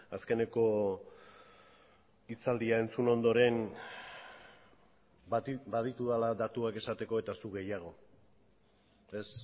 azkeneko hitzaldia entzun ondoren baditudala datuak esateko eta zuk gehiago ez